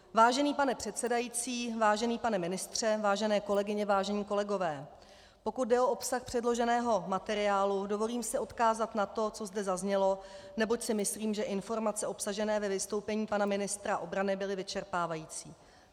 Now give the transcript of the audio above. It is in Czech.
Vážený pane předsedající, vážený pane ministře, vážené kolegyně, vážení kolegové, pokud jde o obsah předloženého materiálu, dovolím si odkázat na to, co zde zaznělo, neboť si myslím, že informace obsažené ve vystoupení pana ministra obrany byly vyčerpávající.